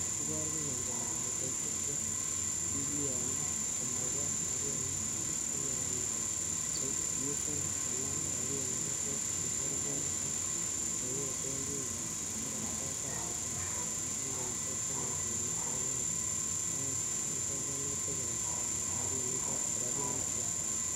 Kiibor kokeny kole, koitosiek che kikiyomo komobo rabinik, ak iyonyin Yusung konam rabinik, kotos magergei ak keyeten bik ab Murot katam Sudan, pasendeisiek somok kenuch agenge oeng en pongonutik ab rabinikchwak.